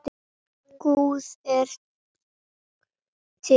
Guð er til.